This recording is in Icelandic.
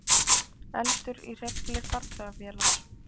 Eldur í hreyfli farþegavélar